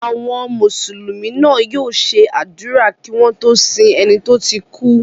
Àwọn Mùsùlùmí náà yóò ṣe àdúrà kí wọ́n tó sin ẹni tó ti kú.